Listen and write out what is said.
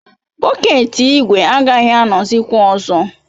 Bọket ígwè agaghị anọzikwa ọzọ.